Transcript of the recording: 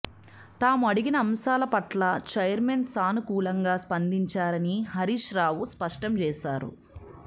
తాము అడిగిన అంశాల పట్ల చైర్మన్ సానుకూలంగా స్పందించారని హరీష్రావు స్పష్టం చేశారు